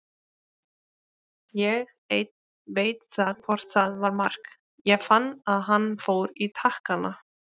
Ég einn veit það hvort þetta var mark, ég fann að hann fór í takkana.